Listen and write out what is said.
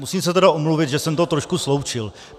Musím se tedy omluvit, že jsem to trošku sloučil.